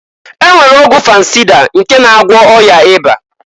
E nwere ọgwụ fansịda nke na agwọ ọya ịba.